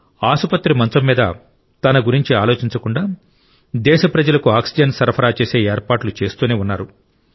ఆసుపత్రి మంచం మీద తన గురించి ఆలోచించకుండా దేశ ప్రజలకు ఆక్సిజన్ సరఫరా చేసే ఏర్పాట్లు చేస్తూనే ఉన్నారు